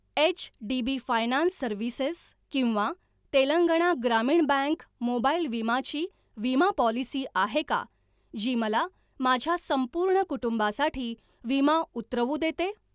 HDB finance services किंवा तेलंगणा ग्रामीण bank mobile विमा ची विमा पॉलिसी आहे का जी मला माझ्या संपूर्ण कुटुंबासाठी विमा उतरवू देते?